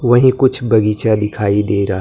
वहीं कुछ बगीचा दिखाई दे रा--